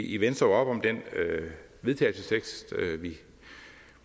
i venstre op om den vedtagelsestekst